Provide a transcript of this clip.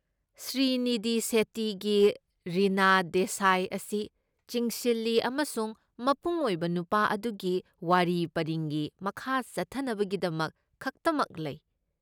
ꯁ꯭ꯔꯤꯅꯤꯙꯤ ꯁꯦꯠꯇꯤꯒꯤ ꯔꯤꯅꯥ ꯗꯦꯁꯥꯏ ꯑꯁꯤ ꯆꯤꯡꯁꯤꯜꯂꯤ ꯑꯃꯁꯨꯡ ꯃꯄꯨꯡ ꯑꯣꯏꯕ ꯅꯨꯄꯥ ꯑꯗꯨꯒꯤ ꯋꯥꯔꯤ ꯄꯔꯤꯡꯒꯤ ꯃꯈꯥ ꯆꯠꯊꯅꯕꯒꯤꯗꯃꯛ ꯈꯛꯇꯃꯛ ꯂꯩ꯫